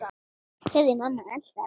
sagði mamma alltaf.